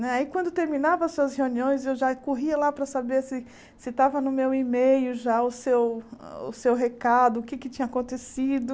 Aí, quando terminava as suas reuniões, eu já corria lá para saber se se estava no meu e-mail já o seu o seu recado, o que é que tinha acontecido.